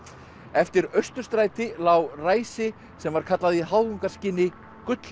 eftir Austurstræti lá ræsi sem var kallað í háðungarskyni